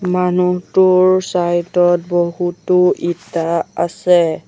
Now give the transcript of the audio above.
মানুহটোৰ চাইদ ত বহুতো ইটা আছে।